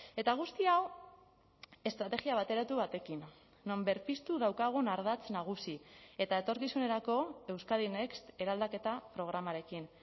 eta guzti hau estrategia bateratu batekin non berpiztu daukagun ardatz nagusi eta etorkizunerako euskadi next eraldaketa programarekin